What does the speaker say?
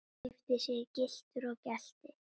Keypti sér gyltur og gelti.